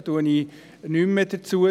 Ich sage nichts mehr dazu.